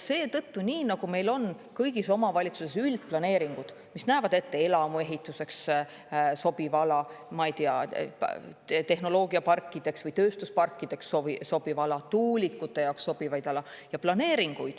Seetõttu, nii nagu meil on kõigis omavalitsustes üldplaneeringud, mis näevad ette elamuehituseks sobiva ala, ma ei tea, tehnoloogiaparkideks või tööstusparkideks sobiva ala, tuulikute jaoks sobiva ala.